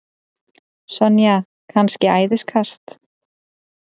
Sonja kannski æðiskast?